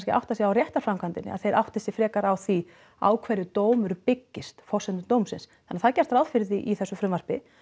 að átta sig á réttarframkvæmdinni að þeir átti sig frekar á því á hverju dómur byggist forsendur dómsins þannig það er gert ráð fyrir því í þessu frumvarpi